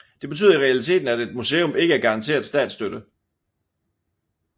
Det betyder i realiteten at et museum ikke er garanteret statsstøtte